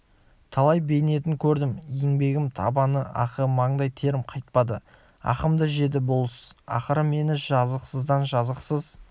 талай бейнетін көрдім еңбегім табан ақы маңдай терім қайтпады ақымды жеді болыс ақыры мені жазықсыздан жазықсыз